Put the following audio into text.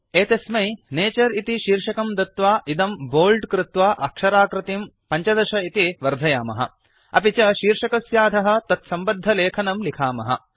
एतस्मै नतुरे इति शीर्षकं दत्वा इदं बोल्ड कृत्वा अक्षराकृतिं 15 इति वर्धयामः अपि च शीर्षकस्याधः तत्सम्बद्धलेखनं लिखामः